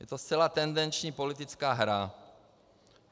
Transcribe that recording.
Je to zcela tendenční politická hra.